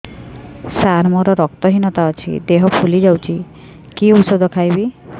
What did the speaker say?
ସାର ମୋର ରକ୍ତ ହିନତା ଅଛି ଦେହ ଫୁଲି ଯାଉଛି କି ଓଷଦ ଖାଇବି